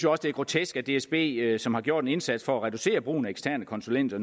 også det er grotesk at dsb som har gjort en indsats for at reducere brugen af eksterne konsulenter